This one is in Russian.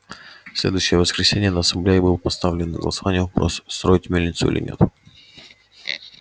в следующее воскресенье на ассамблее был поставлен на голосование вопрос строить мельницу или нет